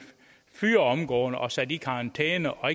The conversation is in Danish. fyret omgående og sat i karantæne og